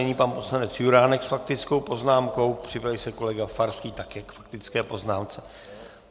Nyní pan poslanec Juránek s faktickou poznámkou, připraví se kolega Farský, také k faktické poznámce.